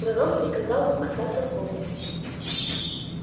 пророк приказал вам оставаться в комнате